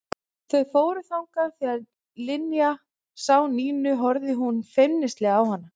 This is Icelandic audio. Þau fóru þangað og þegar Linja sá Nínu horfði hún feimnislega á hana.